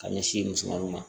Ka ɲɛsin musomaninw ma